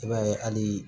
I b'a ye hali